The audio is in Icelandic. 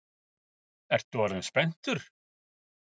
Ertu orðinn spenntur?